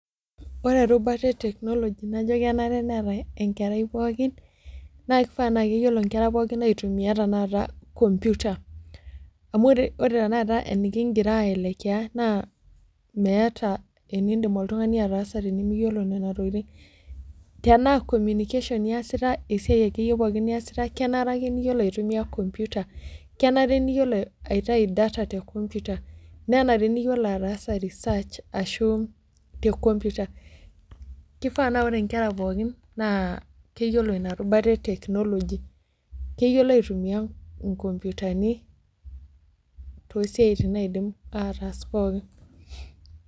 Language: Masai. Ore erubata e technology najo kenare neeta enkerai pookin, naa kifaa na keyiolo nkera pookin aitumia tanakata computer. Amu ore tanakata enikigira ai elekea, naa meeta enidim oltung'ani ataasa tenimiyiolo nena tokiting. Tenaa communication iyasita, esiai akeyie pookin niasita, kenare ake niyiolo aitumia computer. Kenare niyiolo aitayu data te computer, nenare niyiolo ataasa research ashu te computer. Kifaa naa ore nkera pookin, naa keyiolo inarubata e technology. Keyiolo aitumia inkompitani tosiaitin naidim ataas pookin.